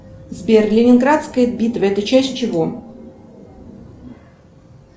сбер ленинградская битва это часть чего